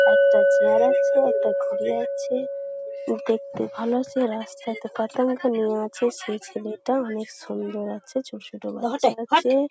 একটা চেয়ার আছে একটা ঘড়ি আছে দেখতে ভাল সে রাস্তা তে মেয়ে আছে সে ছেলেটা অনেক সুন্দর আছে ছোট ছোট বাচ্চা আছে--